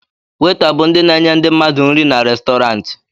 Weta bụ ndị na-enye ndị mmadụ nri n'Restọrantị